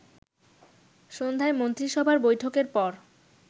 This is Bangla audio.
সন্ধ্যায় মন্ত্রীসভার বৈঠকের পর